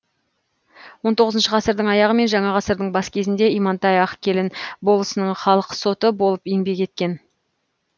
он тоғызыншы ғасырдың аяғы мен жаңа ғасырдың бас кезінде имантай ақкелін болысының халық соты болып еңбек еткен